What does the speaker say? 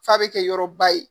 F'a bɛ kɛ yɔrɔ ba ye